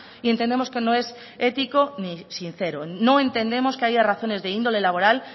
y entendemos que no es ético ni sincero no entendemos que haya razones de índole laboral